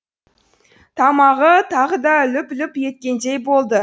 тамағы тағы да лүп лүп еткендей болды